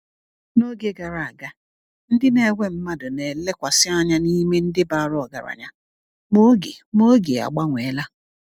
N’oge gara aga, ndị na-ewe mmadụ na-elekwasị anya n’ime ndị bara ọgaranya, ma oge ma oge agbanweela.